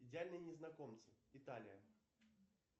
идеальные незнакомцы италия